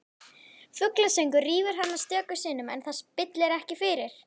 Fuglasöngur rýfur hana stöku sinnum en það spillir ekki fyrir.